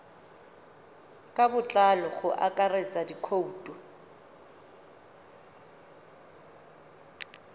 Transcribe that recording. ka botlalo go akaretsa dikhoutu